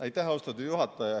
Aitäh, austatud juhataja!